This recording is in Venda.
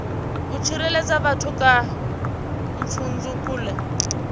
u tsireledza vhathu kha pfudzungule